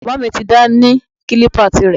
Bàbá mi dá ní kílípà tirẹ̀